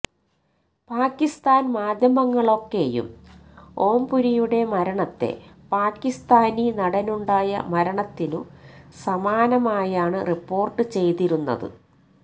പാക്കിസ്ഥാന് മാധ്യമങ്ങളൊക്കെയും ഓംപുരിയുടെ മരണത്തെ പാക്കിസ്ഥാനി നടനുണ്ടായ മരണത്തിനുസമാനമായാണ് റിപ്പോര്ട്ട് ചെയ്തിരുന്നത്